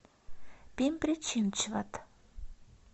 пимпри чинчвад